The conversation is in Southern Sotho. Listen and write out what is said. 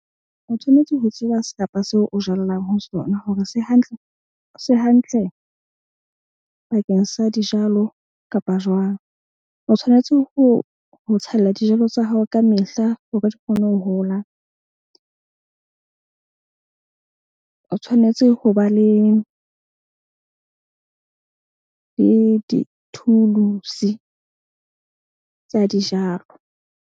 O tshwanetse ho tseba serapa seo o jallang ho sona hore se se hantle bakeng sa dijalo kapa jwang. O tshwanetse ho tshella dijalo tsa hao ka mehla hore di kgone ho hola. O tshwanetse ho ba le dithulusi tsa dijalo.